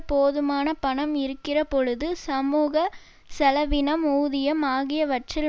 போதுமான பணம் இருக்கிறபொழுது சமூக செலவினம் ஊதியம் ஆகியவற்றில்